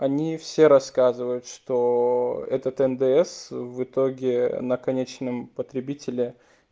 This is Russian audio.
они все рассказывают что этот ндс в итоге на конечном потребителе